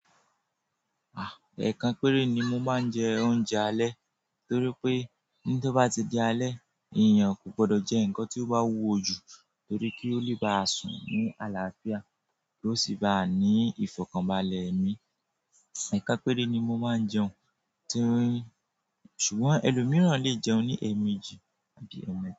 À, ẹ̀ẹ̀kan péré ni mo máa ń jẹ oúnjẹ alẹ́ torí pé tí ó bá ti di alẹ́, ènìyàn kò gbọdọ̀ jẹ nǹkan tí ó bá wúwo jù torí kí ó lè ba sùn ní àlàáfíà kó sì bá ní ìfọ̀kànbalẹ̀ ẹ̀mí. Ẹ̀ẹ̀kan péré ni mo máa ń jẹun, torí ṣùgbọ́n ẹlòmíràn lè jẹun ní èemeji àbí eme.